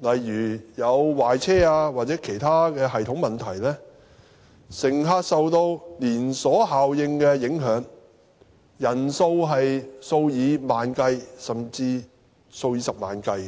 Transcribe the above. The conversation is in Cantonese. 例如壞車或其他系統問題，乘客受到連鎖效應影響，人數數以萬計，甚至數以十萬計。